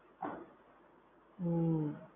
હમ